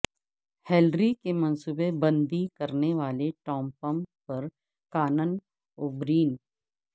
Hillary کی منصوبہ بندی کرنے والے ٹامپمپ پر کانن اوبرین